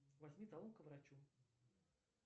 возьми талон к врачу